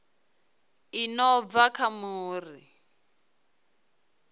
i no bva kha muri